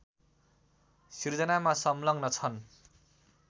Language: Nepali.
सृजनामा संलग्न छन्